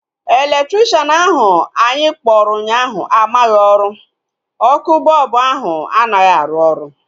Elektrikshan ahu anyị kpọrọ ụnyaahụ amaghị ọrụ. Ọkụ bọlbụ ahu anaghị arụ oru